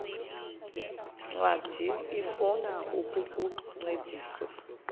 ncwadi ifuna ukukuncedisa